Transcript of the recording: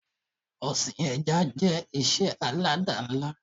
Ọsìn ẹja jẹ́ ìṣe alada ńlá